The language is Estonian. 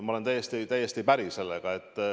Ma olen sellega täiesti päri.